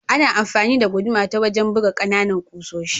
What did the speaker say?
Ana amfani da guduma ta wajen buga kananan kusoshi.